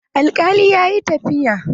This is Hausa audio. Alkalin ya yi tafiya.